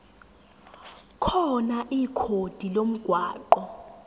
khona ikhodi lomgwaqo